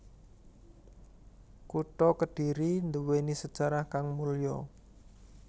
Kutha Kedhiri duwéni sejarah kang mulya